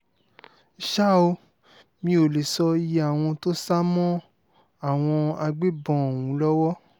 ṣá ò mì ó lè sọ iye àwọn tó sá mọ́ àwọn agbébọn ọ̀hún lọ́wọ́